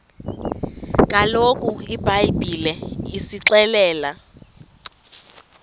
kaloku ibhayibhile isixelela